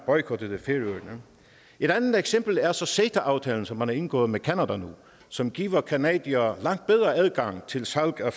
boykottede færøerne et andet eksempel er så ceta aftalen som man nu har indgået med canada og som giver canadiere langt bedre adgang til salg af